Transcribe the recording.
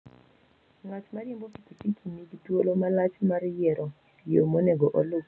Ng'at ma riembo pikipiki nigi thuolo malach mar yiero yo monego oluw.